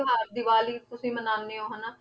ਤਿਉਹਾਰ ਦੀਵਾਲੀ ਵੀ ਤੁਸੀਂ ਮਨਾਉਂਦੇ ਹੋ ਹਨਾ